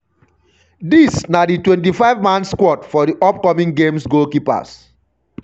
dis na di 25- man squad for di upcoming games goalkeepers-